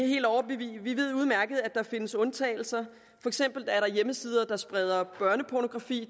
ved udmærket godt at der findes undtagelser for eksempel er der hjemmesider der spreder børnepornografi